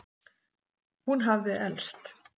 Hún hafði elst.